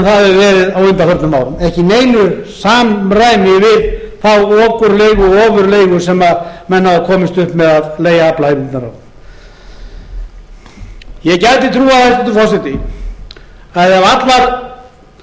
það hefur verið á undanförnum árum ekki í neinu samræmi við þá okurleigu og ofurleigu sem menn hafa komist upp með að leigja aflaheimildirnar á ég gæti trúað hæstvirtur forseti að ef